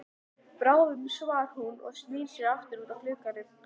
Bráðum svarar hún og snýr sér aftur út að glugganum.